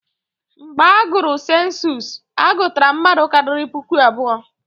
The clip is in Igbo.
Mgbe agụrụ sensus, a gụtara mmadụ karịrị puku abụọ.